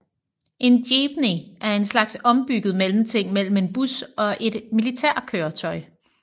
En Jeepney er en slags ombygget mellemting mellem en bus og et militærkøretøj